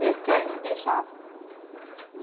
Por que? Meus pais não deixavam.